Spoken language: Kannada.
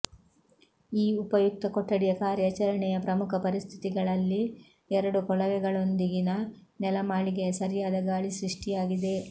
ಈ ಉಪಯುಕ್ತ ಕೊಠಡಿಯ ಕಾರ್ಯಾಚರಣೆಯ ಪ್ರಮುಖ ಪರಿಸ್ಥಿತಿಗಳಲ್ಲಿ ಎರಡು ಕೊಳವೆಗಳೊಂದಿಗಿನ ನೆಲಮಾಳಿಗೆಯ ಸರಿಯಾದ ಗಾಳಿ ಸೃಷ್ಟಿಯಾಗಿದೆ